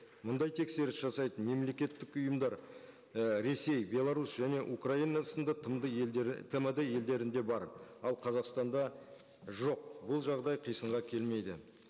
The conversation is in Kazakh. мұндай тексеріс жасайтын мемлекеттік ұйымдар і ресей беларусь және украина сынды тмд елдерінде бар ал қазақстанда жоқ ол жағдай қисынға келмейді